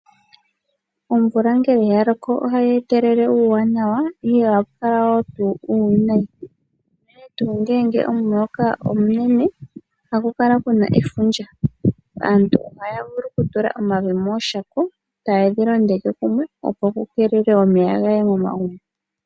Omvula ngele yaloko ohayi etelele uuwanawa, ihe ohapu kala tuu uuwinayi unene tuu ngele omuloka omunene, ohapu kala puna efundja . Aantu ohaya vulu okutula omavi mooshako , etaye dhi londeke kumwe opo kukeelelwe omeya gaaye momagumbo.